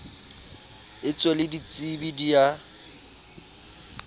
etswe le ditsebi di a